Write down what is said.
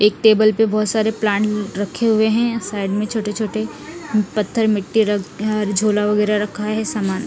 एक टेबल पे बहुत सारे प्लांट रखे हुए हैं साइड में छोटे छोटे पत्थर मिट्टी र अ झोला वगैरह रखा है सामान--